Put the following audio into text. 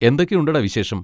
എന്തൊക്കെയുണ്ടെടാ വിശേഷം?